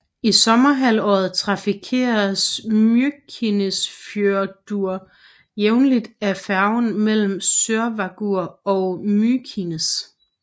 I sommerhalvåret trafikeres Mykinesfjørður jævnlig af færgen mellem Sørvágur og Mykines